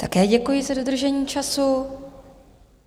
Také děkuji za dodržení času.